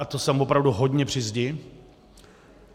A to jsem opravdu hodně při zdi.